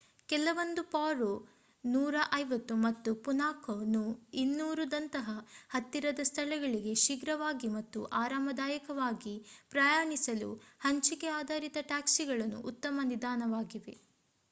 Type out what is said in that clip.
ಕೆಲವೊಂದು ಪಾರೋ nu 150ಮತ್ತು Punakha nu 200ದಂತಹ ಹತ್ತಿರದ ಸ್ಥಳಗಳಿಗೆ ಶೀಘ್ರವಾಗಿ ಮತ್ತು ಆರಾಮದಾಯಕವಾಗಿ ಪ್ರಯಾಣಿಸಲು ಹಂಚಿಕೆ ಆಧಾರಿತ ಟ್ಯಾಕ್ಸಿಗಳು ಉತ್ತಮ ವಿಧಾನವಾಗಿವೆ